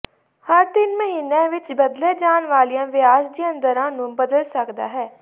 ਹਰ ਤਿੰਨ ਮਹੀਨਿਆਂ ਵਿੱਚ ਬਦਲੇ ਜਾਣ ਵਾਲੀਆਂ ਵਿਆਜ ਦੀਆਂ ਦਰਾਂ ਨੂੰ ਬਦਲ ਸਕਦਾ ਹੈ